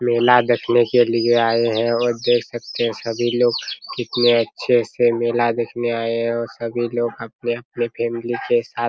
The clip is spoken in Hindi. मेला देखने के लिए आए हैं और देख सकते हैं सभी लोग कितने अच्छे से मेला देखने आए हैं सभी लोग अपने-अपने फैमिली के साथ --